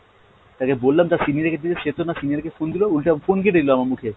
তাকে বললাম তার senior কে দিতে, সে তো না senior কে phone দিলো উল্টে phone কেটে দিলো আমার মুখে।